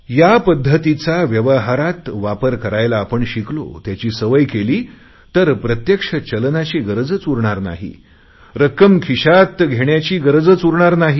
या पध्दतीचा व्यवहारात वापर करायला आपण शिकलो त्याची सवय केली तर प्रत्यक्ष चलनाची गरजच उरणार नाही रक्कम खिशात घेण्याची गरजच उरणार नाही